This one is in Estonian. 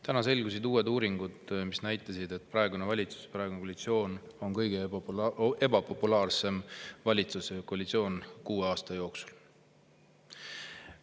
Täna selgusid uued uuringu, mis näitasid, et praegune valitsus ja praegune koalitsioon on kõige ebapopulaarsemad valitsus ja koalitsioon kuue aasta jooksul.